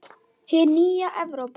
Hin nýja Evrópa!